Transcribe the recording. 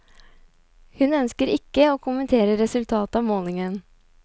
Hun ønsker ikke å kommentere resultatet av målingen.